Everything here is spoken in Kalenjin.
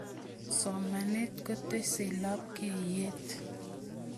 somanet kotesei lekibwatutaishee